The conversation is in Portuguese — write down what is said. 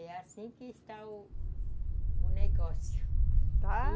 É assim que está o o negócio. Tá?